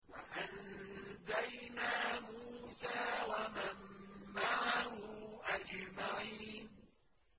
وَأَنجَيْنَا مُوسَىٰ وَمَن مَّعَهُ أَجْمَعِينَ